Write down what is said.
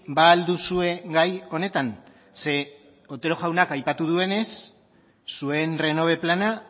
ba al duzue gai honetan ze otero jaunak aipatu duenez zuen renove plana